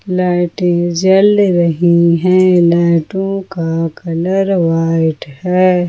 लाइटें जल रही है लाइटों का कलर व्हाइट है।